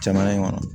Jamana in kɔnɔ